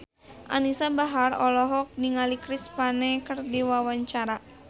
Anisa Bahar olohok ningali Chris Pane keur diwawancara